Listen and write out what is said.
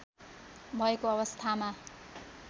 भएको अवस्थामा